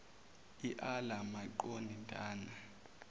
iala maqon dana